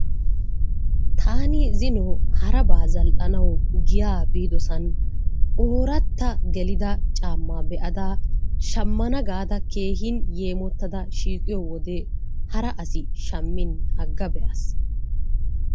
Taani zino harabaa zal'anawu giya biiddosan ooratta gelida caammaa be'ada shammana gaada keehin yeemmottada siiqqiyo wode hara asi shammiin aga beyaas.